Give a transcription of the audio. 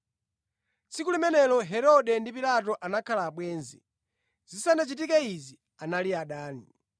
Tsiku limenelo, Herode ndi Pilato anakhala abwenzi. Zisanachitike izi anali adani.